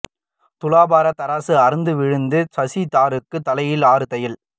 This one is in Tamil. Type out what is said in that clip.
துலாபார தராசு அறுந்து விழுந்தது சசி தரூருக்கு தலையில் ஆறு தையல்